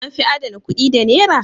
An fi adana kuɗi da Nera?